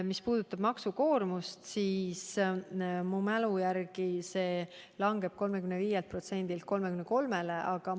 Mis puudutab maksukoormust, siis minu mälu järgi langeb see 35%-lt 33%-le.